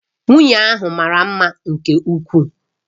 Nwunye ahụ mara mma nke ukwuu